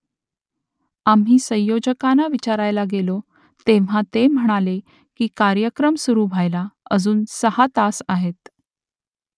आम्ही संयोजकांना विचारायला गेलो तेव्हा ते म्हणाले की कार्यक्रम सुरू व्हायला अजून सहा तास आहेत